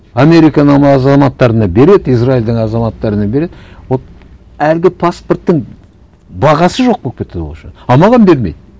американың азаматтарына береді израильдің азаматтарына береді вот әлгі паспорттың бағасы жоқ болып кетті вообще а маған бермейді